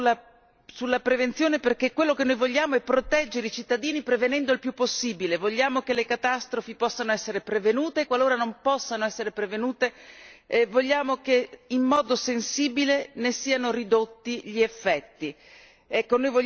Un capitolo nuovo sulla prevenzione perché quello che noi vogliamo è proteggere i cittadini prevenendo il più possibile, vogliamo che le catastrofi possano essere prevenute e qualora non possano essere prevenute vogliamo che in modo sensibile ne siano ridotti gli effetti.